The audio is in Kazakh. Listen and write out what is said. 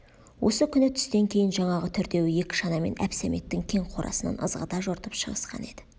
осы күні түстен кейін жаңағы төртеуі екі шанамен әбсәметтің кең қорасынан ызғыта жортып шығысқан еді